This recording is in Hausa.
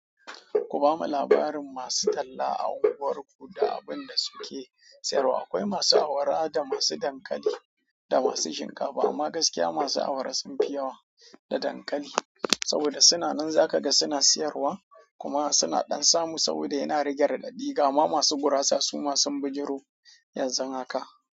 Ku bamu labarin masu talla a unguwarku da abin da suke siyarwa. Akwai masu awara da masu dankali da masu shinkafa amma gaskiya masu awara sunfi yawa da dankali saboda suna nan zakaga suna siyarwa kuma suna ɗan samu saboda yana rage raɗaɗi. Gama masu gurasa suma sun bijiro yanzu haka.